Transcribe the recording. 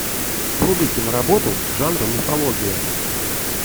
вруби киноработу жанра мифология